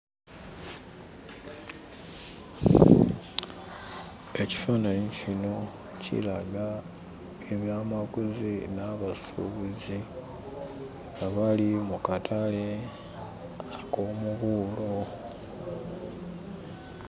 Ekifaananyi kino kiraga ebyamaguzi n'abasuubuzi abali mu katale ak'omubuulo.